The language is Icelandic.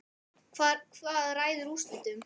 Hvað ræður úrslitum?